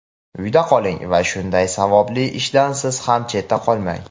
Uyda qoling va shunday savobli ishdan siz ham chetda qolmang.